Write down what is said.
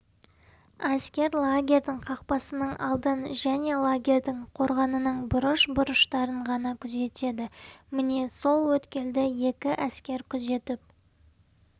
әскер лагерьдің қақпасының алдын және лагерьдің қорғанының бұрыш-бұрыштарын ғана күзетеді міне сол өткелді екі әскер күзетіп